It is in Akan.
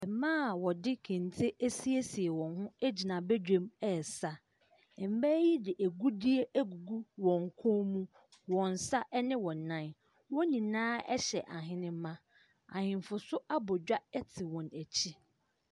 Mmaa a wɔde kente assiesie wɔn ho gyina badwam resa. Mmaa yi de agudiɛ agugu wɔn kɔn mu, wɔn nsa ne wɔn nan. Wɔn nyinaa hyɛ ahenema. Ahenfo nso abɔ dwa te wɔn akyi.